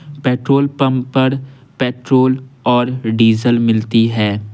Petrol pump पर petrol और diesel मिलती है।